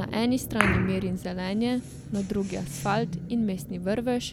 Na eni strani mir in zelenje, na drugi asfalt in mestni vrvež,